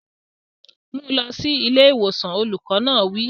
Mú un lọ sí ilé ìwòsàn! Olùkọ́ náà wí.